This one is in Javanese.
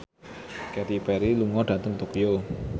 Katy Perry lunga dhateng Tokyo